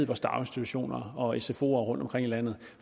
daginstitutioner og sfoer rundtomkring i landet